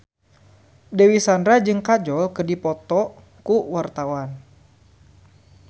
Dewi Sandra jeung Kajol keur dipoto ku wartawan